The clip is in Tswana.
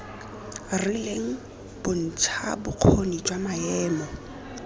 rileng bontsha bokgoni jwa maemo